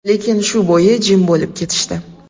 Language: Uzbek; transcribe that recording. Lekin shu bo‘yi jim bo‘lib ketishdi.